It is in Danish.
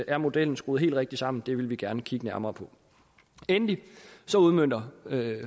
er modellen skruet helt rigtigt sammen det vil vi gerne kigge nærmere på endelig udmønter